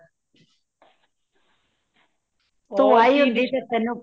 overlap